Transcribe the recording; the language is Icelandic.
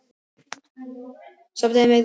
Sofnaði með rautt enni.